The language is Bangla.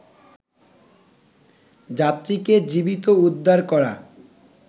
যাত্রীকে জীবিত উদ্ধার করা